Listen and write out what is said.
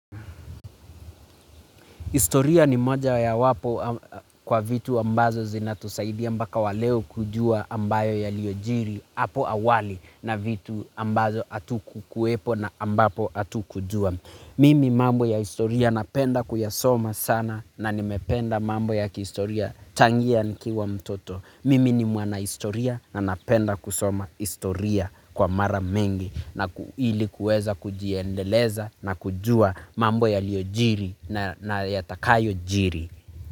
Historia ni moja ya wapo kwa vitu ambazo zinatusaidia mpaka waleo kujua ambayo yaliyojiri hapo awali na vitu ambazo atuku kuepo na ambapo atukujua. Mimi mambo ya historia napenda kuyasoma sana na nimependa mambo ya kihistoria tangia nikiwa mtoto. Mimi ni mwana historia na napenda kusoma historia kwa mara mengi na ilikuweza kujiendeleza na kujua mambo yaliojiri na yatakayo jiri.